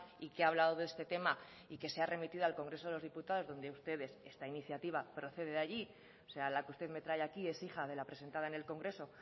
y que ha hablado de este tema y que se ha remitido al congreso de los diputados donde ustedes esta iniciativa procede de allí o sea la que usted me trae aquí es hija de la presentada en el congreso